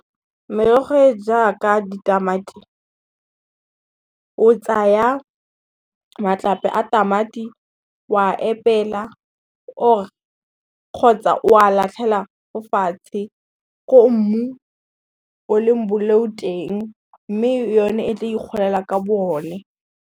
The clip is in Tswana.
Merogo e e jaaka ditamati, o tsaya matlape a tamati o a epela kgotsa o a latlhela ko fatshe ko mmu o leng boleu teng, mme yone e tla ikgolela ka bo one.